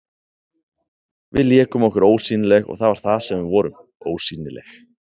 Við lékum okkur ósýnileg, og það var það sem við vorum, ósýnileg.